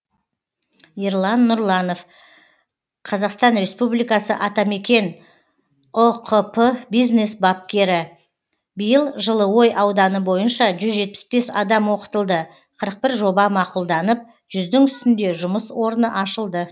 ерлан нұрланов қазақстан республикасы атамекен ұкп бизнес бапкері биыл жылыой ауданы бойынша жүз жетпіс бес адам оқытылды қырық бір жоба мақұлданып жүздің үстінде жұмыс орны ашылды